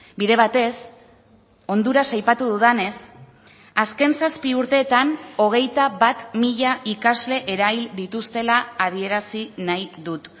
bide batez honduras aipatu dudanez azken zazpi urteetan hogeita bat mila ikasle erail dituztela adierazi nahi dut